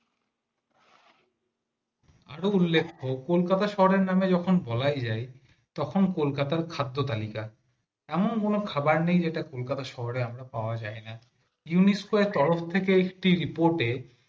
আরে উল্লেখ্য কলকাতা শহরের নামে যখন বলাই যায় তখন কলকাতা তার খাদ্য তালিকা এমন কোন খাবার নেই কলকাতা শহরে আমরা পাওয়া যায় না ইউনেস কেয়ার তরফ থেকে st report এ